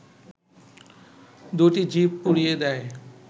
দুটি জিপ পুড়িয়ে দেয়